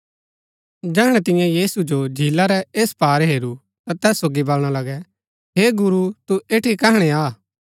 जैहणै तियें यीशु जो झीला रै ऐस पार हेरू ता तैस सोगी बलणा लगै हे गुरू तू ऐठी कैहणै आ